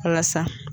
Walasa